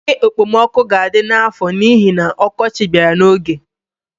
Oke ekpemoku ga-adi n'afọ n'ihi na ọkọchị bịara n'oge.